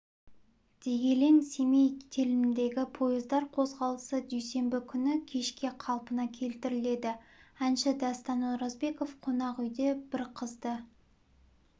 дегелең-семей теліміндегі пойыздар қозғалысы дүйсенбі күні кешке қалпына келтіріледі әнші дастан оразбеков қонақ үйде бір қызды